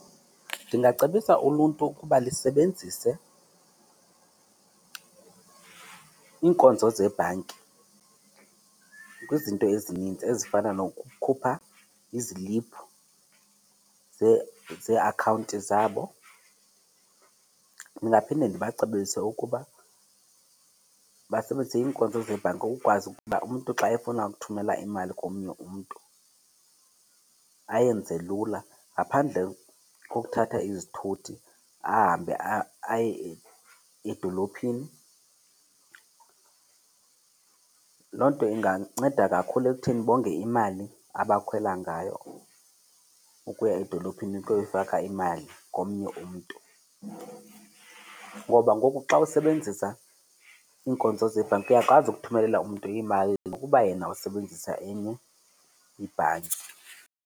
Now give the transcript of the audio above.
Ndingacebisa uluntu ukuba lisebenzise iinkonzo zebhanki kwizinto ezininzi ezifana nokukhupha iziliphu zeeakhawunti zabo. Ndingaphinde ndibacebise ukuba basebenzise iinkonzo zebhanki ukukwazi ukuba umntu xa efuna ukuthumela imali komnye umntu ayenze lula ngaphandle kokuthatha izithuthi ahambe aye edolophini. Loo nto inganceda kakhulu ekutheni bonge imali abakhwela ngayo ukuya edolophini ukuyoyifaka imali komnye umntu. Ngoba ngoku xa usebenzisa iinkonzo zebhanki uyakwazi ukuthumelela umntu imali nokuba yena usebenzisa enye ibhanki.